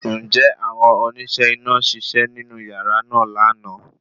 Ǹjẹ́ àwọn oníṣẹ́ iná ṣiṣẹ́ nínú yàrá náà lana